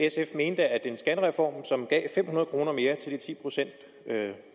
mente at en skattereform som gav fem hundrede kroner mere til de ti procent